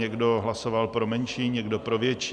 Někdo hlasoval pro menší, někdo pro větší.